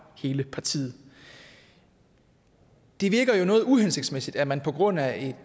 hele partiet det virker jo noget uhensigtsmæssigt at man på grund af